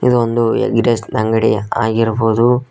ಇದು ಒಂದು egg rice ನಂಗಡಿಯ ಆಗಿರಬಹುದು.